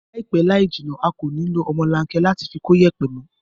Láìpẹ́ láìjìnà a kò ní lo ọmọlanke láti fi kóyẹ̀pẹ̀ mó